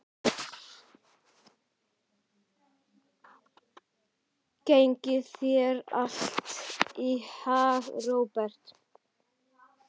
Gangi þér allt í haginn, Róberta.